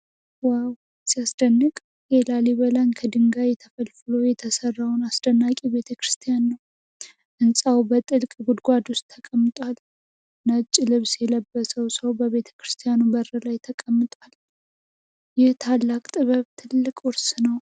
ዋው ሲያስደንቅ! የላሊበላን ከድንጋይ ተፈልፍሎ የተሰራውን አስደናቂ ቤተክርስቲያን ነው። ሕንፃው በጥልቅ ጉድጓድ ውስጥ ተቀምጧል። አንድ ነጭ ልብስ የለበሰ ሰው በቤተክርስቲያኑ በር ላይ ተቀምጧል። ይህ ታላቅ ጥበብ ትልቅ ውርስ ነው።